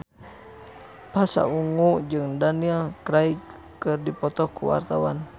Pasha Ungu jeung Daniel Craig keur dipoto ku wartawan